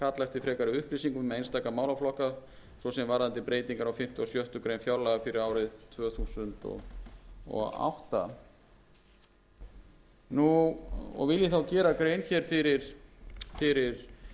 eftir frekari upplýsingum um einstaka málaflokka svo sem varðandi breytingar á fimmta og sjöttu grein fjárlaga fyrir árið tvö þúsund og átta vil ég þá gera grein hér fyrir